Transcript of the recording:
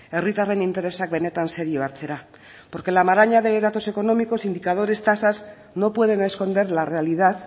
herritarren interesak benetan serio hartzera porque la maraña de datos económicos indicadores tasas no pueden esconder la realidad